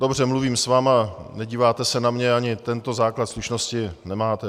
Dobře, mluvím s vámi, nedíváte se na mě, ani tento základ slušnosti, nemáte.